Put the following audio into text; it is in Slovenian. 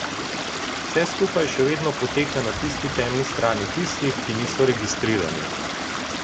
Vse skupaj še vedno poteka na tisti temni strani tistih, ki niso registrirani.